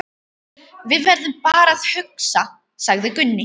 Við verðum bara að hugsa, sagði Gunni.